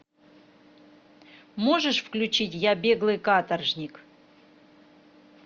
можешь включить я беглый каторжник